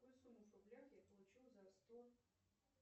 какую сумму в рублях я получу за сто